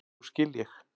Nú skil ég.